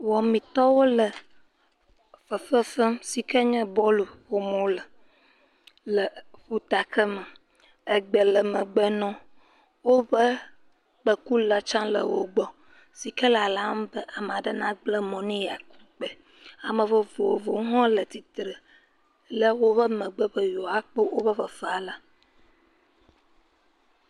Wɔmitɔwo le fefe fem si kee nye bɔɔlu ƒo wole le ƒutakeme. Egbe le megbe nɔwo. Woƒe kpẽkula tsã le wogbɔ si ke lalam be ame ɖe nagblẽ mɔ ne yeaku pke. Ame vovovowo hã le atitire le woƒe megbe be yewoakpɔ woƒe fefea la.